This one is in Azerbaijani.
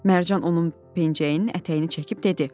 Mərcan onun pencəyinin ətəyini çəkib dedi: